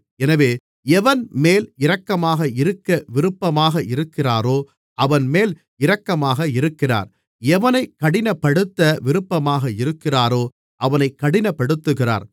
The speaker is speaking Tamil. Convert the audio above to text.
எனவே எவன்மேல் இரக்கமாக இருக்க விருப்பாமாக இருக்கிறாரோ அவன்மேல் இரக்கமாக இருக்கிறார் எவனைக் கடினப்படுத்த விருப்பமாக இருக்கிறாரோ அவனைக் கடினப்படுத்துகிறார்